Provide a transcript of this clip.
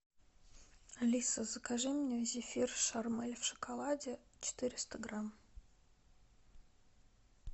алиса закажи мне зефир шармель в шоколаде четыреста грамм